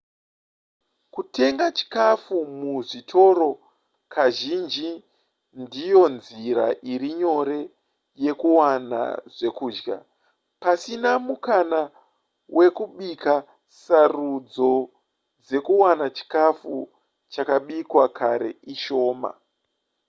kutenga chikafu muzvitoro kazhinji ndiyo nzira iri nyore yekuwana zvekudya pasina mukana wekubika sarudzo dzekuwana chikafu chakabikwa kare ishoma